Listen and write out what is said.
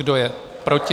Kdo je proti?